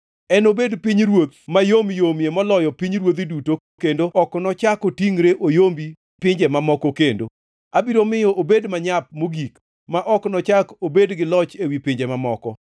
Enobed pinyruoth mayom yomie moloyo pinjeruodhi duto kendo ok nochak otingʼre oyombi pinje mamoko kendo. Abiro miyo obed manyap mogik ma ok nochak obed gi loch ewi pinje mamoko.